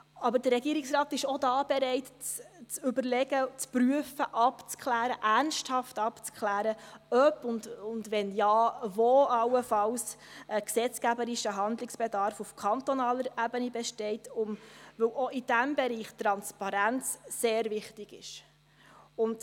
Aber der Regierungsrat ist auch hier bereit, zu überlegen und zu prüfen, ernsthaft abzuklären, ob und wenn ja, wo allenfalls ein gesetzgeberischer Handlungsbedarf auf kantonaler Ebene besteht, weil auch in diesem Bereich Transparenz sehr wichtig ist.